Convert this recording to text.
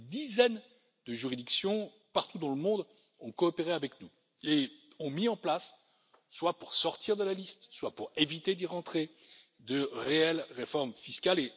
Des dizaines de juridictions, partout dans le monde, ont coopéré avec nous et ont mis en place, soit pour sortir de la liste, soit pour éviter d'y entrer, de réelles réformes fiscales.